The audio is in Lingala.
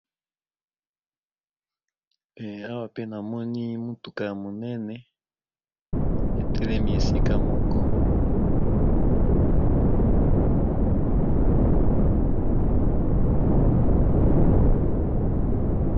Awa pe namoni mutuka yamunene etelemi esika moko